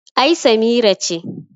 ai Samira ce